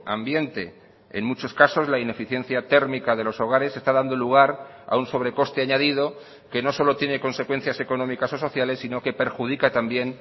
ambiente en muchos casos la ineficiencia térmica de los hogares está dando lugar a un sobre coste añadido que no solo tiene consecuencias económicas o sociales sino que perjudica también